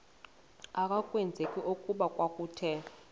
akwazeki okokuba kwakuthe